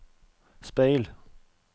speil